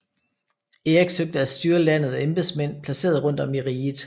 Erik søgte at styre landet ved embedsmænd placeret rundt om i riget